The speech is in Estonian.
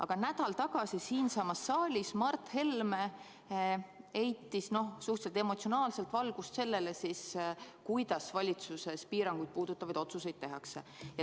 Aga nädal tagasi siinsamas saalis Mart Helme heitis suhteliselt emotsionaalselt valgust sellele, kuidas valitsuses piiranguid puudutavaid otsuseid tehakse.